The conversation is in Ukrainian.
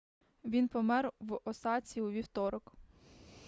він помер в осаці у вівторок